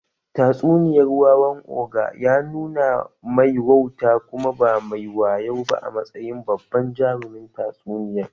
Tatsuniyar wawan ogre ya nuna mai wauta kuma ba mai wayo ba a matsayin babban jarumin tatsuniyar